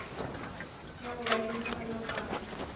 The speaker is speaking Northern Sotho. ya go ba le dipalopalo